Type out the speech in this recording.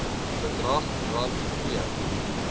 bedrag rand p